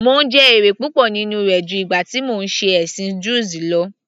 Mò ń jẹ èrè púpọ̀ nínú rẹ̀ ju ìgbà tí mò ń ṣe ẹ̀sìn druze lọ